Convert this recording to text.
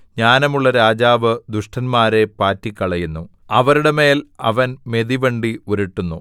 ജ്ഞാനമുള്ള രാജാവ് ദുഷ്ടന്മാരെ പാറ്റിക്കളയുന്നു അവരുടെ മേൽ അവൻ മെതിവണ്ടി ഉരുട്ടുന്നു